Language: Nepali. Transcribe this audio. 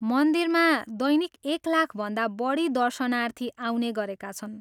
मन्दिरमा दैनिक एक लाखभन्दा बढी दर्शनार्थी आउने गरेका छन् ।